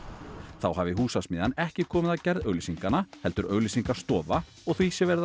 þá hafi Húsasmiðjan ekki komið að gerð auglýsinganna heldur auglýsingastofa og því sé verið að